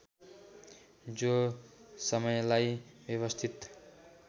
जो समयलाई व्यवस्थित